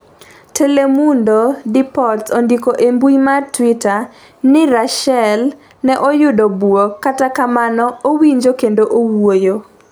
Telemundo Deportes ondiko e mbui mar Twitter ni Ruschel ne oyudo buok kata kamano owinjo kendo owuoyo.